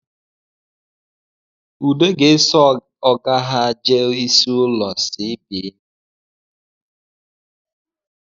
Ude ga-eso ọga ha jee isi ụlọ CBN